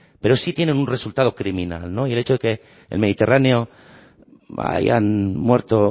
pero sí tienen un resultado criminal no y el hecho de que en el mediterráneo hayan muerto